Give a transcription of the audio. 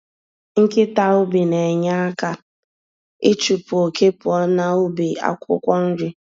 Nkịta ubi na-enye aka ịchụpụ oke pụọ n'bu akwukwo-nri.